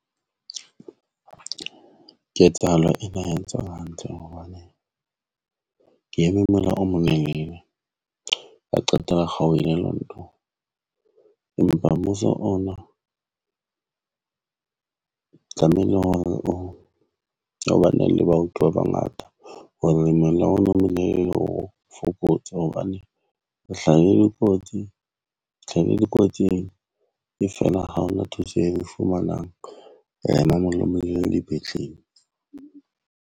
Ketsahalo ena ha ya ntshwara hantle hobane ke eme mola o molelele. Ba qetela kgaohile lonto empa mmuso ona tlamehile hore o ba nang le baoki ba bangata hoba ha O fokotse hobane o hlahile kotsi, tlhahile dikotsing e fela. Ha hona thuso e nfumanang, wa ema molomong lebitleng.